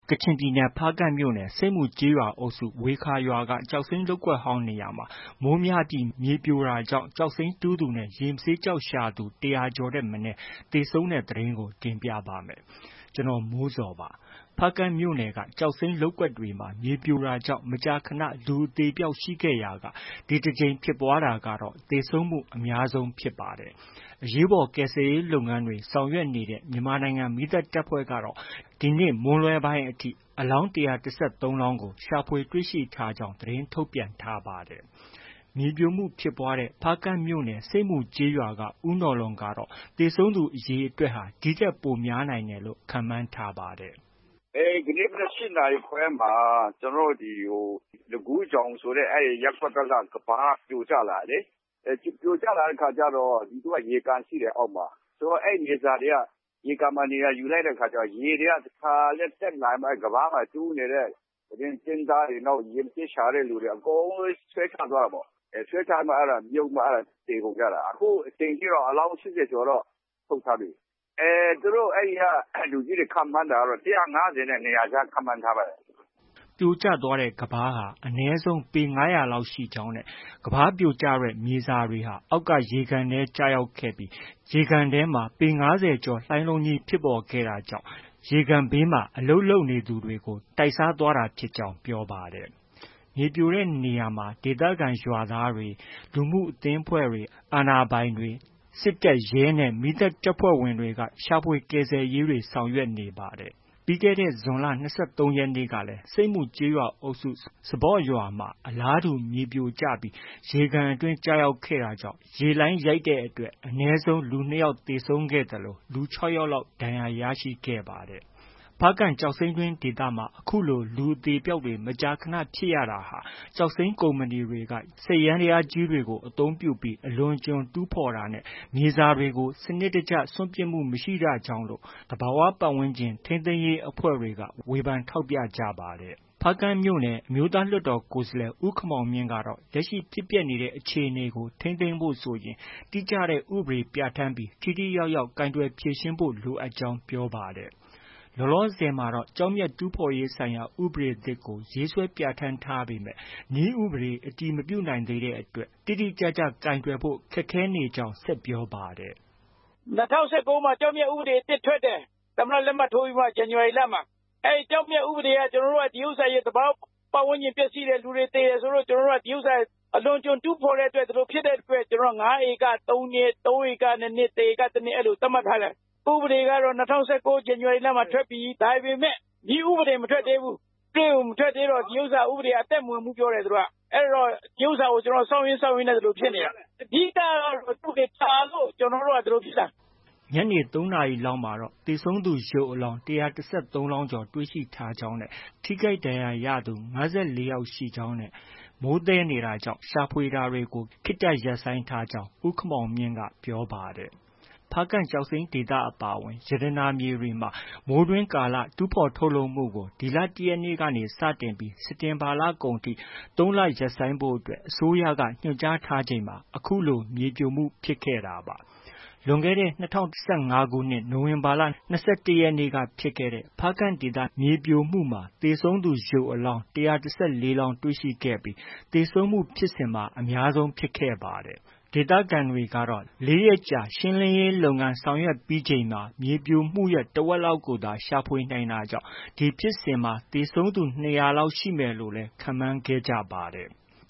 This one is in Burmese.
ကချင်ပြည်နယ် ဖားကန့်မြို့နယ် ဆိပ်မူကျေးရွာအုပ်စု ဝေခါရွာက ကျောက်စိမ်းလုပ်ကွက်ဟောင်းနေရာမှာ မိုးများပြီး မြေပြိုတာကြောင့် ကျောက်တူးသူနဲ့ ရေမဆေးကျောက်ရှာသူ ၁၀၀ ကျော်ထက်မနည်း သေဆုံးတဲ့သတင်းကို ဗွီအိုအေမြန်မာပိုင်းသတင်းထောက် ကိုမိုးဇော်က တင်ပြပေးပါမယ်။ ဖားကန့်မြို့နယ်က ကျောက်စိမ်းလုပ်ကွက်တွေမှာ မြေပြိုတာကြောင့် မကြာခဏ လူအသေအပျောက်ရှိခဲ့ရာက ဒီတစ်ကြိမ်ဖြစ်ပွားတာကတော့ သေဆုံးမှုအများဆုံးဖြစ်ပါတယ်။ အရေးပေါ် ကယ်ဆယ်ရေးလုပ်ငန်းတွေ ဆောင်ရွက်နေတဲ့ မြန်မာနိုင်ငံ မီးသတ်တပ်ဖွဲ့ကတော့ ဒီနေ့မွန်းလွဲပိုင်းအထိ အလောင်း ၁၁၃ လောင်းကို ရှာဖွေတွေ့ရှိထားကြောင်း သတင်းထုတ်ပြန်ထားပါတယ်။ မြေပြိုမှုဖြစ်ပွားခဲ့တဲ့ ဖားကန့်မြို့နယ် ဆိပ်မူရွာက ဦးနော်လွန်ကတော့ သေဆုံးသူအရေအတွက်ဟာ ဒီထက်ပိုများနိုင်တယ်လို့ ခန့်မှန်းထားကြောင်း ပြောပါတယ်။ “ဒီကနေ့ မနက် ၈ နာရီခွဲမှာ ကျနော်တို့ ဒီ လခူးချောင်ဆိုတဲ့ ရပ်ကွက်ဘက်က ကမ်းပါးပြိုကျလာတာလေ။ ပြိုကျလာတဲ့အခါကျတော့ ရေကန်ရှိတယ် အောက်မှာ။ အဲဒီမြေစာတွေက ရေကန်မှာ နေရာယူလိုက်တဲ့အခါကျတော့ ရေက တခါတည်းတက်လာပြီးတော့ အဲဒီ ကမ်းပါးမှာ ကျင်းသားတွေ၊ ရေမဆေးကျောက်ရှာသူတွေ အကုန်လုံး ဆွဲချသွားတာပေါ့။ ဆွဲချပြီးမှ မြုပ်ပြီးမှ သေကုန်ကြတာ။ အခုချိန်ထိတော့ အလောင်း ၈၀ ကျော်တော့ ထုတ်ထားပြီ။ သူတို့ အဲဒီက လူကြီးတွေ ခန့်မှန်းတာကတော့ ၁၅၀နဲ့ ၂၀၀ ကြား ခန့်မှန်းထားပါတယ်။” ပြိုကျသွားတဲ့ကမ်းပါးဟာ အနည်းဆုံး ပေ ၅၀၀ ကျော်လောက်ရှိကြောင်းနဲ့ ကမ်းပါးပြိုကျတဲ့ မြေစာတွေဟာ အောက်က ရေကန်ထဲကျရောက်ပြီး ရေကန်ထဲမှာ ပေ ၅၀ ကျော်လှိုင်းလုံးဖြစ်ပေါ်ခဲ့တာကြောင့် ရေကန်ဘေးမှာ အလုပ်လုပ်နေသူတွေကို တိုက်စားသွားတာဖြစ်ကြောင်း ပြောပါတယ်။ မြေပြိုကျတဲ့နေရာမှာ ဒေသခံရွာသားတွေ၊ လူမှုအသင်းအဖွဲ့တွေ၊ အာဏာပိုင်တွေ၊ တပ်၊ရဲနဲ့ မီးသတ်တပ်ဖွဲ့ဝင်တွေက ရှာဖွေကယ်ဆယ်ရေးဆောင်ရွက်နေပါတယ်။ ပြီးခဲ့တဲ့ ဇွန်လ ၂၃ ရက်နေ့ကလည်း ဆိတ်မူကျေးရွာအုပ်စု၊ စပေါ့ရွာမှာ အလားတူမြေပြိုကျပြီး ရေကန်အတွင်းကျခဲ့ရာက ရေလှိုင်းရိုက်တဲ့အတွက် အနည်းဆုံး လူ၂ ယောက် သေဆုံးခဲ့သလို လူ ၆ ယောက်လောက် ထိခိုက်ဒဏ်ရာရခဲ့ပါတယ်။ ဖားကန့်ကျောက်စိမ်းတွင်း ဒေသမှာ အခုလို လူအသေအပျောက်တွေ မကြာခဏ ဖြစ်ရတာဟာ ကျောက်စိမ်းကုမ္ပဏီတွေက စက်ယန္တရားတွေ အသုံးပြုပြီး အလွန်အကျွံ တူးဖော်တာနဲ့ မြေစာတွေကို စနစ်တကျ စွန့်ပစ်မှုမရှိတာကြောင့်လို့ သဘာဝပတ်ဝန်းကျင် ထိန်းသိမ်းရေးအဖွဲ့တွေက ဝေဖန်ထောက်ပြကြပါတယ်။ ဖားကန့်မြို့နယ် အမျိုးသားလွှတ်တော်ကိုယ်စားလှယ် ဦးခင်မောင်မြင့်ကတော့ လက်ရှိ ဖြစ်ပျက်နေတဲ့အခြေအနေကို ထိန်းသိမ်းဖို့ဆိုရင် တိကျတဲ့ ဥပဒေပြဌာန်းပြီး ထိထိရောက်ရောက် ကိုင်တွယ်ဖြေရှင်းဖို့ လိုအပ်ကြောင်း ပြောပါတယ်။ လောလောဆယ်မှာတော့ ကျောက်မျက်တူးဖော်ရေးဆိုင်ရာ ဥပဒေသစ်ကို ရေးဆွဲပြဌာန်းထားပေမဲ့ နည်းဥပဒေ အတည်မပြုနိုင်သေးတဲ့အတွက် တိတိကျကျ ကိုင်တွယ်ဖို့ ခက်ခဲနေကြောင်း ဆက်ပြောပါတယ်။ “၂၀၁၉ မှာ ကျောက်မျက်ဥပဒေသစ်ထွက်တယ်။ ၂၀၁၉ ဇန်နဝါရီလမှာ သမ္မတ လက်မှတ်ထိုးပြီးတော့မှ။ အဲဒီ ကျောက်မျက်ဥပဒေက ဒီဥစ္စာ သဘာဝပတ်ဝန်းကျင် ပျက်ဆီးတယ်၊ လူတွေ သေတယ်ဆိုလို့ ကျနော်တို့က ဒီဥစ္စာ အလွန်အကျွံ တူးဖော်တဲ့အတွက် ဒီလိုဖြစ်တဲ့အတွက် ကျနော်တို့က ၅ ဧက ၃ နှစ်၊ ၃ ဧက ၂ နှစ်၊ ၁ ဧက ၁ နှစ် အဲလို သတ်မှတ်ထားတယ်။ ဥပဒေကတော့ ၂၀၁၉ ဇန်နဝါရီလမှာ ထွက်ပြီ။ ဒါပေမဲ့ နည်းဥပဒေ မထွက်သေးဘူး။ နည်းဥပဒေ မထွက်သေးတော့ ဒီဥစ္စာ အသက်မဝင်ဘူးပြောတယ်။ သူတို့က အဲတော့ ဒီဥစ္စာကို စောင့်ရင်း စောင့်ရင်းနဲ့ ဒီလို ဖြစ်နေတာ။ အဓိကကတော့ နည်းဥပဒေ ကြာလို့ ဒီလိုဖြစ်တာ။” ညနေ ၃ နာရီလောက်မှာ သေဆုံးသူရုပ်အလောင်း ၁၁၃ ကျော်တွေ့ရှိထားကြောင်း၊ ထိခိုက်ဒဏ်ရာရသူ ၅၄ ယောက်ရှိကြောင်းနဲ့ မိုးသည်းနေတာကြောင့် ရှာဖွေတာတွေ ခေတ္တရပ်နေကြောင်း ဦးခင်မောင်မြင့်က ပြောပါတယ်။ ဖားကန့်ကျောက်စိမ်းဒေသအပါအဝင် ရတနာမြေတွေမှာ မိုးတွင်းကာလ တူးဖော် ထုတ်လုပ်မှုကို ဒီလ ၁ ရက်နေ့ကနေ စတင်ပြီး စက်တင်ဘာလကုန်အထိ ၃ လ ရပ်ဆိုင်းဖို့ အစိုးရက ညွှန်ကြားထားချိန်မှာ အခုလို မြေပြိုမှုဖြစ်ခဲ့တာပါ။ လွန်ခဲ့တဲ့ ၂၀၁၅ ခုနှစ် နိုဝင်ဘာ ၂၁ ရက်နေ့က ဖြစ်ခဲ့တဲ့ ဖားကန့်ဒေသ မြေပြိုမှုမှာ သေဆုံးသူ ရုပ်အလောင်း ၁၁၄ လောင်းတွေ့ရှိခဲ့ပြီး သေဆုံးမှုဖြစ်စဉ်မှာ အများဆုံးဖြစ်ခဲ့ပါတယ်။ ဒေသခံတွေကတော့ ၄ ရက်ကြာ ရှင်းလင်းရေးလုပ်ငန်းဆောင်ရွက်ပြီးချိန်မှာ မြေပြိုမှုရဲ့ တဝက်လောက်ကိုသာ ရှာဖွေနိုင်တာကြောင့် အဲဒီဖြစ်စဉ်မှာ သေဆုံးသူ ၂၀၀ လောက်ရှိမယ်လို့လည်း ခန့်မှန်းခဲ့ပါတယ်။